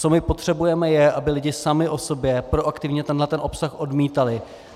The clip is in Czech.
Co my potřebujeme, je, aby lidi sami o sobě proaktivně tenhle obsah odmítali.